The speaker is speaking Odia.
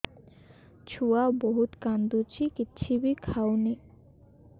ଛୁଆ ବହୁତ୍ କାନ୍ଦୁଚି କିଛିବି ଖାଉନି